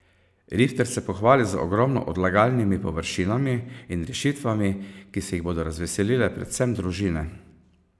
Rifter se pohvali z ogromno odlagalnimi površinami in rešitvami, ki se jih bodo razveselile predvsem družine.